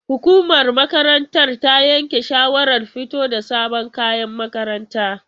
Hukumar makarantar ta yanke shawarar fito da sabon kayan makaranta.